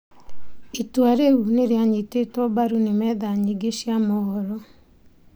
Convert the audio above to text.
Itua rĩu nĩ rĩanyitĩtwo mbaru nĩ metha yingĩ cia mohoro.